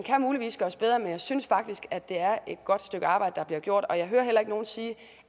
kan muligvis gøres bedre men jeg synes faktisk at det er et godt stykke arbejde der bliver gjort og jeg hører heller ikke nogen sige